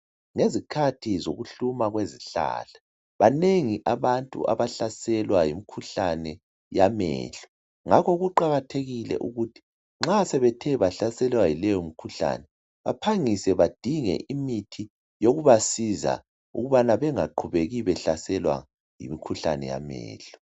Ngezikhathi zokuhluma kwezihlahla, banengi abantu abahlaselwa yimkhuhlane yamehlo. Ngakho kuqakathekile ukuthi, nxa sebethe bahlaselwa yileyo mkhuhlane, baphangise badinge imithi yokubasiza ukubana bengaqhubeki behlaselwa yimikhuhlane yamehlo.